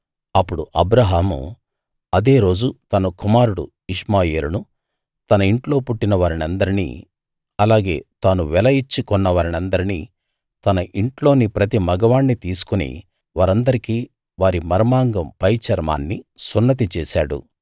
అప్పుడు అబ్రాహాము అదే రోజు తన కుమారుడు ఇష్మాయేలునూ తన ఇంట్లో పుట్టిన వారినందర్నీ అలాగే తాను వెల ఇచ్చి కొన్న వారందరినీ తన ఇంట్లోని ప్రతి మగవాణ్ణీ తీసుకుని వారందరికీ వారి మర్మాంగం పైచర్మాన్ని సున్నతి చేశాడు